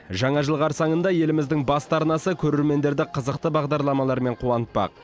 жаңа жыл қарсаңында еліміздің басты арнасы көрермендерді қызықты бағдарламалармен қуантпақ